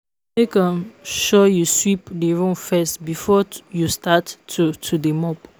Make um sure you sweep the room first before you start to to dey mop